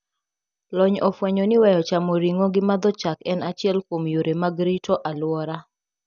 Lony ofwenyoni weyo chamo ring`o gi madho chak en achiel kuom yore mag rito aluora